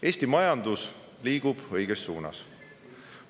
Eesti majandus liigub õiges suunas.